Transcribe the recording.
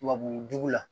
Tubabu jugu la